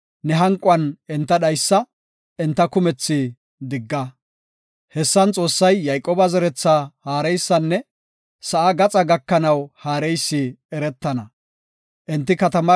ne hanquwan enta dhaysa; enta kumethi digga. Hessan Xoossay Yayqooba zeretha haareysanne sa7aa gaxaa gakanaw haareysi eretana. Salaha